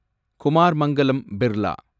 Kumar Mangalam Birla